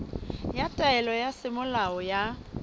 ya taelo ya semolao ya